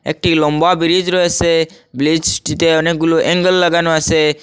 একটি লম্বা ব্রিজ রয়েসে ব্লিজটিতে অনেকগুলো অ্যাঙ্গেল লাগানো আসে।